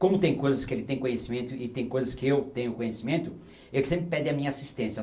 Como tem coisas que ele tem conhecimento e tem coisas que eu tenho conhecimento, ele sempre pede a minha assistência.